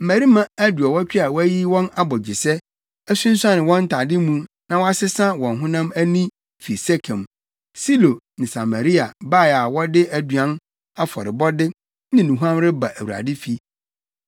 mmarima aduɔwɔtwe a wɔayiyi wɔn abogyesɛ, asunsuane wɔn ntade mu na wɔasesa wɔn honam ani fi Sekem, Silo ne Samaria bae a wɔde aduan afɔrebɔde ne nnuhuam reba Awurade fi.